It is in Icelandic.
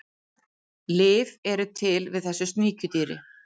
Lyf eru til við þessu sníkjudýri.